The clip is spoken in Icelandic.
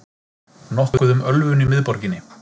Nokkuð um ölvun í miðborginni